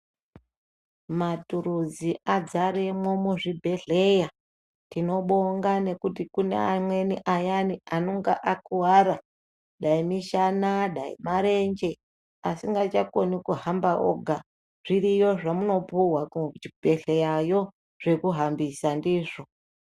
Maturuzi adzaremwo muzvibhedhleyatinobonga ngekuti kune amweni ayani anonga akuwara dai mishana dai marenje asingachakoni kuhamba oga zviriyo zvemunopuhwa kuchibhedhleyayo zvekuhambisa ndizvo.